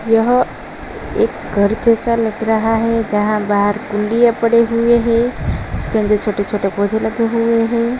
यह एक घर जैसा लग रहा है। जहाँ बाहर कुनडीये पड़े हुए है। उसके अन्दर छोटे-छोटे पौधे लगे हुए है।